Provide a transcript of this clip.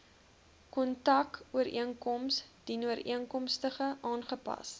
kontrakooreenkoms dienooreenkomstig aangepas